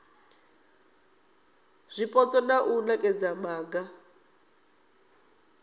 zwipotso na u nekedza maga